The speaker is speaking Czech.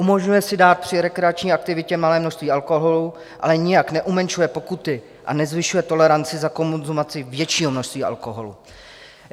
Umožňuje si dát při rekreační aktivitě malé množství alkoholu, ale nijak neumenšuje pokuty a nezvyšuje toleranci za konzumaci většího množství alkoholu.